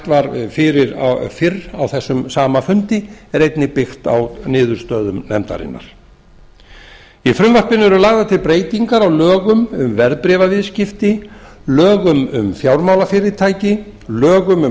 var fyrir fyrr á þessum sama fundi er einnig byggt á niðurstöðum nefndarinnar í frumvarpinu eru lagðar til breytingar á lögum um verðbréfaviðskipti lögum um fjármálafyrirtæki lögum um